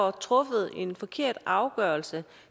er truffet en forkert afgørelse